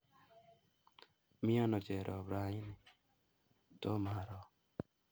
Miano Cherop raini ? Tomaro